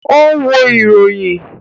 O n wo iroyin.